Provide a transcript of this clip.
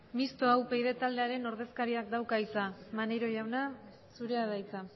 mistoa upyd taldearen ordezkariak dauka hitza maneiro jauna zurea da hitza